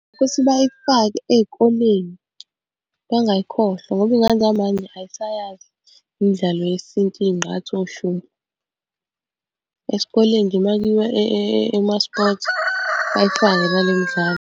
Ukuthi bayifake ey'koleni bangayikhohlwa ngoba iy'ngane zamanje ay'sayazi imidlalo yesintu, iy'ngqathu oshumpu. Esikoleni nje uma kuyiwa kuma-sport bayifake nale midlalo.